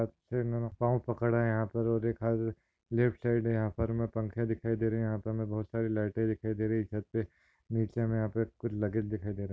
इन्होने पाव पकड़ा है यहा पर और एक हाथ लेफ्ट साइड है यहा पर हमे पंखे दिखाई दे रहे है यहा पर हमे बहुत सारी लाइटे दिखाई दे रही है छत पे नीचे हमें यहा पे कुछ लगेज दिखाई दे रहे है।